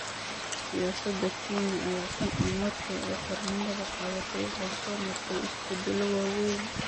Siyaasadda Kenya ayaa tan iyo markii ay xornimada qaadatay waxay soo martay isbedello waaweyn.